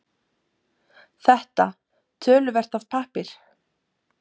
Þetta töluvert af pappír